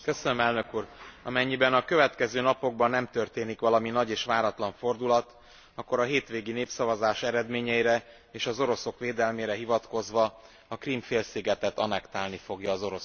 Amennyiben a következő napokban nem történik valami nagy és váratlan fordulat, akkor a hétvégi népszavazás eredményeire, és az oroszok védelmére hivatkozva a Krím félszigetet annektálni fogja az Orosz Föderáció.